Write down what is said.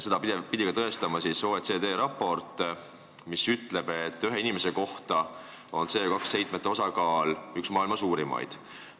Seda pidi tõestama OECD raport, mis ütleb, et ühe inimese kohta on meil CO2 heitmete osakaal üks maailma suurimaid.